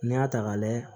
N'i y'a ta k'a layɛ